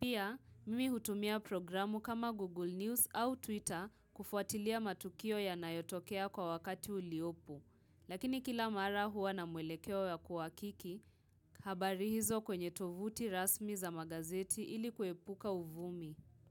Pia, mimi hutumia programu kama Google News au Twitter kufuatilia matukio yanayotokea kwa wakati uliopu Lakini kila mara huwa na mwelekewa ya kuwakiki, habari hizo kwenye tovuti rasmi za magazeti ilikuepuka uvumi.